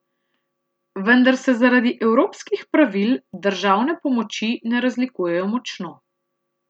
Vendar se zaradi evropskih pravil državne pomoči ne razlikujejo močno.